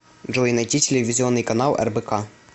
джой найти телевизионный канал рбк